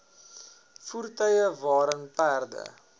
voertuie waarin perde